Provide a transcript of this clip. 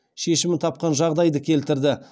шешімін тапқан жағдайды келтірді